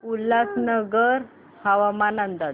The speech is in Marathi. उल्हासनगर हवामान अंदाज